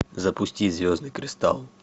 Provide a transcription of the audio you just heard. запусти звездный кристалл